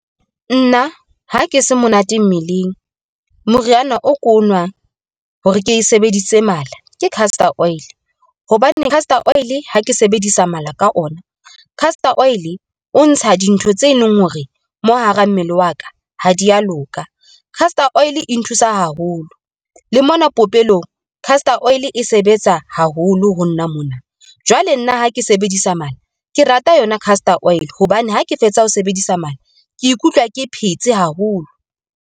Nna ha ke se monate mmeleng, moriana o ko nwang hore ke sebedise mala ke castor oil. Hobaneng Castor oil ha ke sebedisa mala ka yona, Castor oil o ntsha dintho tse leng hore mo hara mmele wa ka ha dia loka. Castor Oil e nthusa haholo, le mona popelong. Castor Oil e sebetsa haholo ho nna mona. Jwale nna ha ke sebedisa mono, ke rata yona Castor oil hobane ha ke fetsa ho sebedisa mono ke ikutlwa ke phetse haholo.